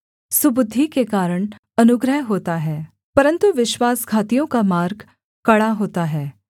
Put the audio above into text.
सुबुद्धि के कारण अनुग्रह होता है परन्तु विश्वासघातियों का मार्ग कड़ा होता है